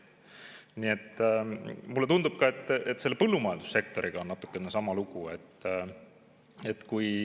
Nii et mulle tundub, et ka selle põllumajandussektoriga on natukene sama lugu.